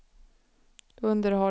underhållning